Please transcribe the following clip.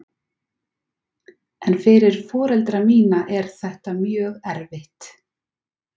En fyrir foreldra mína er þetta mjög erfitt.